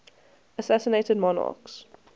assassinated monarchs